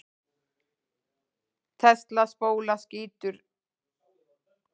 Tesla-spóla skýtur neistum.